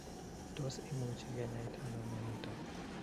Tos imuchi kinyaita ano mionitok